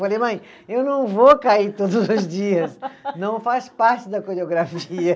Falei, mãe, eu não vou cair todos os dias, não faz parte da coreografia.